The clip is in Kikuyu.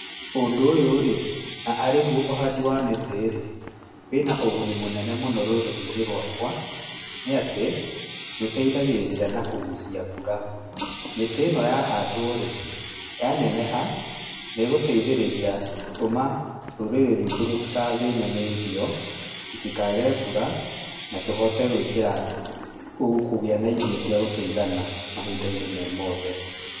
Ũndũ ũyũ-rĩ, na arĩguo ũhandi wa mĩtĩ-rĩ, wĩ na ũguni mũnene mũno rũrĩrĩ-inĩ rwakwa. Nĩ atĩ, nĩũteithagĩrĩria na kũgucia mbura. Mĩtĩ ĩno yahandwo-rĩ, yaneneha nĩgũteithĩrĩria gũtũma rũrĩrĩ rwitũ rũtikathĩne nĩ irio, rũtikage mbura, na tũhote gwĩkira, kũgĩa na irio cia gũtũigana mahinda-inĩ me mothe.